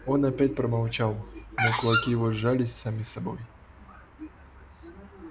он опять промолчал но кулаки его сжались сами собой